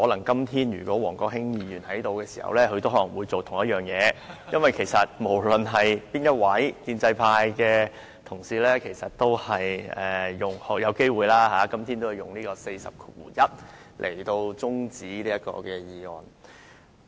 因為如果王國興今天在席，他可能也會做同一件事，無論是哪一位建制派同事，其實今天也有機會根據《議事規則》第401條動議中止待續議案。